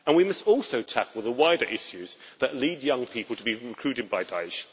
And we must also tackle the wider issues that lead young people to be recruited by Da'esh.